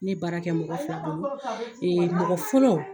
Ne baara kɛ mɔgɔ fila bolo mɔgɔ fɔlɔ